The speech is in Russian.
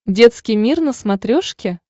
детский мир на смотрешке